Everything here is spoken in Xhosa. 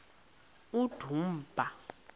udumba